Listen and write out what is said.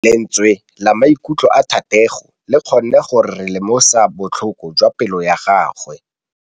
Lentswe la maikutlo a Thategô le kgonne gore re lemosa botlhoko jwa pelô ya gagwe.